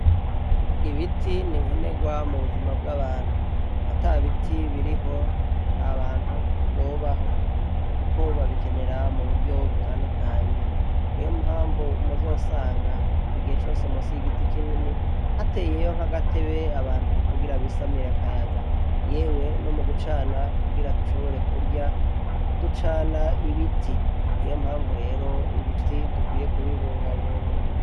Ibiti ni nkenegwa mu buzima bw'abantu. Ata biti biriho nta bantu bobaho kuko babikenera mu buryo butandukanye. Niyo mpamvu muzosanga igihe cose musi y'igiti kinini hateyeho agatebe abantu kugira bisamire akayaga. Yewe no mu gucana kugira dushobore kurya ducana ibiti. Niyo mpamvu rero ibiti dukwiye kubibungabunga.